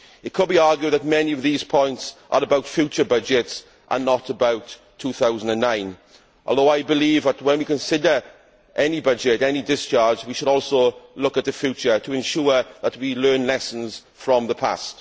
It could be argued that many of these points concern future budgets rather than the 2009 budget, but I believe that, when we consider any budget and any discharge, we should also look to the future to ensure that we learn lessons from the past.